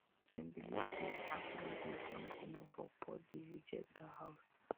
dem believe say fish wey dey jump comot for pot dey reject dat house